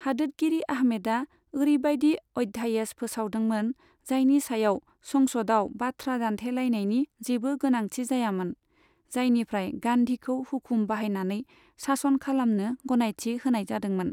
हादोदगिरि आहमेदआ ओरैबायदि अध्यादेश फोसावदोंमोन, जायनि सायाव संसदआव बाथ्रा दान्थेलायनायनि जेबो गोनांथि जायामोन, जायनिफ्राय गान्धीखौ हुखुम बाहायनानै शासन खालामनो गनायथि होनाय जादोंमोन।